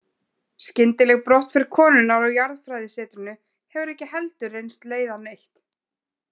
Skyndileg brottför konunnar á jarðfræðisetrinu hefur ekki heldur reynst leiða neitt.